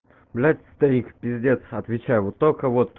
блядь старик пиздец отвечаю вот только вот